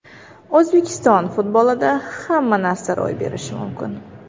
O‘zbekiston futbolida hamma narsa ro‘y berishi mumkin.